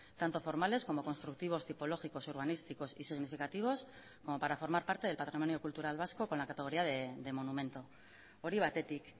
tanto formales como constructivos tipológicos urbanísticos y significativos como para formar parte del patrimonio cultural vasco con la categoría de monumento hori batetik